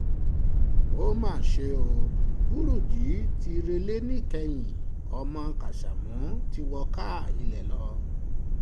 ó mà ṣe o burújí ti rẹlẹ̀ ìkẹyìn ọmọ kásámù ti wọ káà ilé lọ